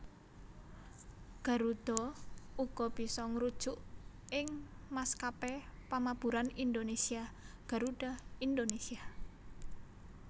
Garuda uga bisa ngrujuk ing maskapé pamaburan Indonésia Garuda Indonésia